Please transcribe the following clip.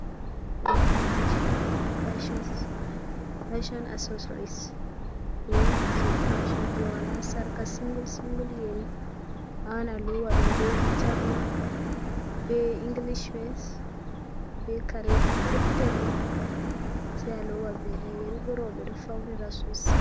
Yerije fashon assossoris, yeriji jei fashon wala jei sarqa singul singul yeri, awawan a lowa ɗum be hijab ma be inglish wes be kareji perpetel ni sei a lowa den yeri bo rooɓe ɗo faunira sosai.